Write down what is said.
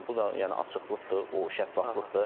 Yəni bu da yəni açıqlıqdır, o şəffaflıqdır.